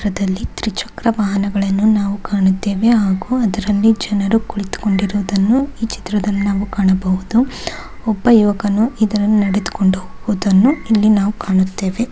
ಈ ಚಿತ್ರದಲ್ಲಿ ತ್ರಿಚಕ್ರ ವಾಹನಗಳನ್ನು ನಾವು ಕಾಣುತ್ತಿದ್ದೇವೆ ಹಾಗೂ ಅದರಲ್ಲಿ ಜನರು ಕುಳಿತುಕೊಂಡಿರುವುದನ್ನು ಈ ಚಿತ್ರದಲ್ಲಿ ಕಾಣಬಹುದು. ಒಬ್ಬ ಯುವಕನು ಇದರಲ್ಲಿ ನಡೆದುಕೊಂಡು ಹೋಗುವುದನ್ನು ಇಲ್ಲಿ ನಾವು ಕಾಣುತ್ತೇವೆ.